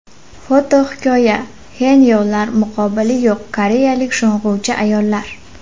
Fotohikoya: Xenyolar muqobili yo‘q koreyalik sho‘ng‘uvchi ayollar.